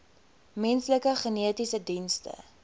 menslike genetiese dienste